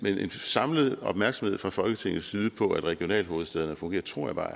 samlet opmærksomhed fra folketingets side på at regionalhovedstæderne fungerer tror jeg bare